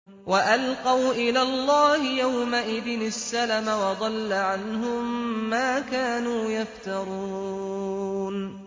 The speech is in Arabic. وَأَلْقَوْا إِلَى اللَّهِ يَوْمَئِذٍ السَّلَمَ ۖ وَضَلَّ عَنْهُم مَّا كَانُوا يَفْتَرُونَ